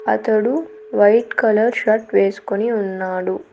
అతడు white colour shirt వేసుకొని ఉన్నాడు.